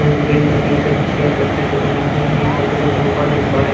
green colour के ये सब चेयर लकड़ी से बने हुए हैं यहाँ पर देखो सोफा देख पा रहे--